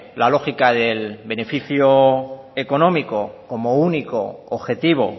la lógica del beneficio económico como único objetivo